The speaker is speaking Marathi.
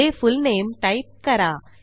पुढे फुलनेम टाईप करा